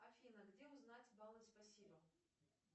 афина где узнать баллы спасибо